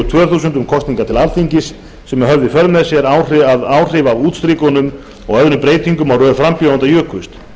tvö þúsund um kosningar til alþingis sem höfðu í för með sér að áhrif af útstrikunum og öðrum breytingum á röð frambjóðenda jukust